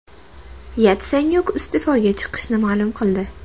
Yatsenyuk iste’foga chiqishini ma’lum qildi.